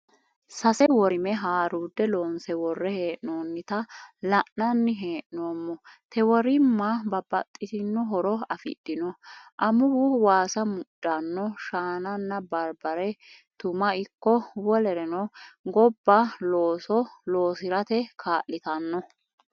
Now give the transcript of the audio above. Sase worime haaruudde loonse worre hee'noonnita la'nanni hee'noommo. Te worimma babbaxitino horo afidhino:amuwu waasa mudhanno shaananna barbare tuma ikko wolereno gobba looso loosirate kaa'litanno.